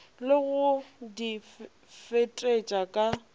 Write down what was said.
le go di fetetša ka